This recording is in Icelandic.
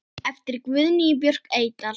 eftir Guðnýju Björk Eydal